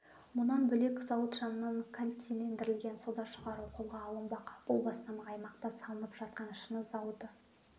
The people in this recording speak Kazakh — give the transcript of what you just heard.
мұнан бөлек зауыт жанынан кальцилендірілген сода шығару қолға алынбақ бұл бастама аймақта салынып жатқан шыны зауыты